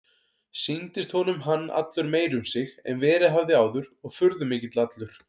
Sýndist honum hann allur meiri um sig en verið hafði áður og furðumikill allur.